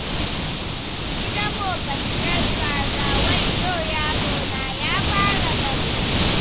Yi dabo ka ci ƴar kaza, wayyo yarona ya fara dabo.